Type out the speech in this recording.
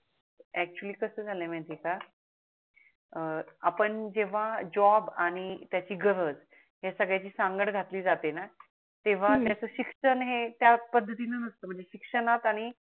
actually कस झाल आहे माहीत आहे का आपण जेव्हा जॉब आणि त्याची गरज हया सगड्याची सांगड घातली जातेणा तेव्हा त्याच शिक्षण हे त्या पद्धतीन असत म्हणजे शिक्षणता